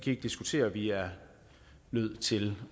ikke diskutere at vi er nødt til